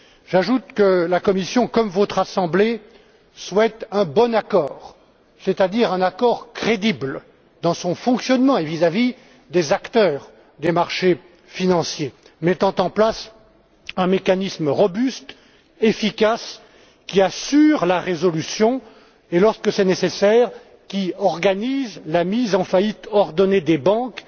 J'ajoute que la Commission, comme votre assemblée, souhaite un bon accord, c'est à dire un accord crédible dans son fonctionnement et vis à vis des acteurs des marchés financiers, mettant en place un mécanisme robuste, efficace, qui assure la résolution et, lorsque c'est nécessaire, qui organise la mise en faillite ordonnée des banques